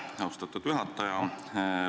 Aitäh, austatud juhataja!